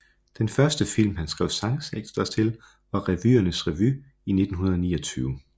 Den første film han skrev sangtekster til var Revyernes revy i 1929